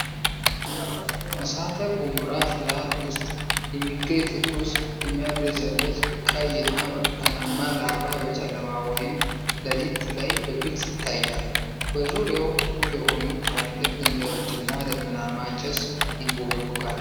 እሳተ ገሞራ ፍላት ውስጥ የሚገኝ ትኩስ፣ የሚያብለጨልጭ ቀይና ብርቱካናማ ላቫ በጨለማ ወይም ለሊት ላይ በግልጽ ይታያል። በዙሪያው ጥቁር የሆኑ ትላልቅ ድንጋዮችና ደመናማ ጭስ ይንቦገቦጋል።